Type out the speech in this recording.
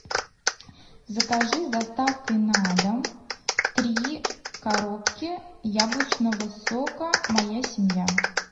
закажи с доставкой на дом три коробки яблочного сока моя семья